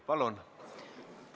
Palun!